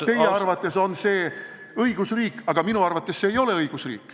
Teie arvates on see õigusriik, aga minu arvates see ei ole õigusriik.